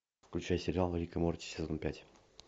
включай сериал рик и морти сезон пять